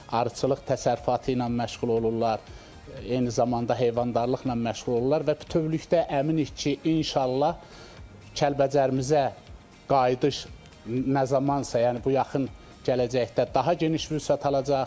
Arıçılıq təsərrüfatı ilə məşğul olurlar, eyni zamanda heyvandarlıqla məşğul olurlar və bütövlükdə əminəm ki, inşallah Kəlbəcərimizə qayıdış nə zamansa, yəni bu yaxın gələcəkdə daha geniş vüsət alacaq.